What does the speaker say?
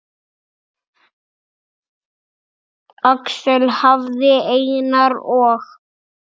Axel hafði Einar og